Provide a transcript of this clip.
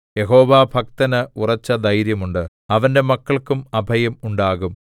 യഹോവാഭക്തന് ഉറച്ചധൈര്യം ഉണ്ട് അവന്റെ മക്കൾക്കും അഭയം ഉണ്ടാകും